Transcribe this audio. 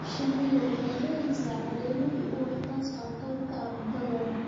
Shinnidu waxay helaysaa caleemo iyo ubax taasoo qayb ka ah cuntadooda.